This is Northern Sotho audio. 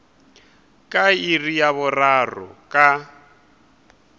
ka iri ya boraro ka